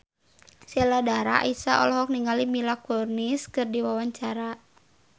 Sheila Dara Aisha olohok ningali Mila Kunis keur diwawancara